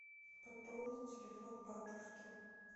пополнить телефон бабушки